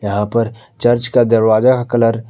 यहां पर चर्च का दरवाजा का कलर --